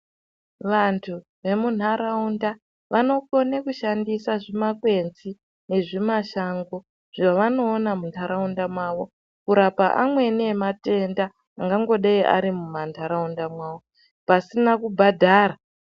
Vantu vemunharaunda vanokone kushandisa zvimakwenzi nezvimashango zvavanoona mumanharaunda mwavo kurapa amweni ematenda angangodei ari muntaraunda mwavo, pasina kubhadhara.